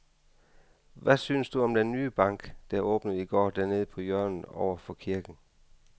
Hvad synes du om den nye bank, der åbnede i går dernede på hjørnet over for kirken?